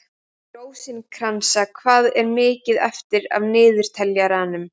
Rósinkransa, hvað er mikið eftir af niðurteljaranum?